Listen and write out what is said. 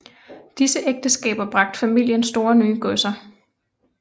Disse ægteskaber bragte familien store nye godser